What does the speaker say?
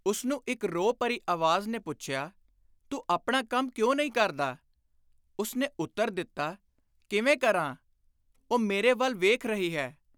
ਉਸਨੂੰ ਇਕ ਰੋਹ ਭਰੀ ਆਵਾਜ਼ ਨੇ ਪੁੱਛਿਆ, “ਤੂੰ ਆਪਣਾ ਕੰਮ ਕਿਉਂ ਨਹੀਂ ਕਰਦਾ ?” ਉਸਨੇ ਉੱਤਰ ਦਿੱਤਾ, “ਕਿਵੇਂ ਕਰਾਂ ? ਉਹ ਮੇਰੇ ਵੱਲ ਵੇਖ ਰਹੀ ਹੈ।